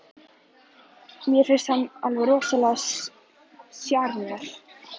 Mér finnst hann alveg rosalegur sjarmör.